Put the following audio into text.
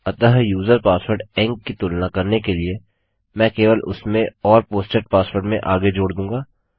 अतः user password ENC की तुलना करने के लिए मैं केवल उसमें और पोस्टेड पासवर्ड में आगे जोड़ दूँगा